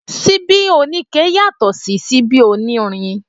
Síbí oníke yàtọ̀ sí síbí onírin